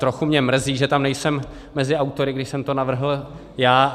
Trochu mě mrzí, že tam nejsem mezi autory, když jsem to navrhl já.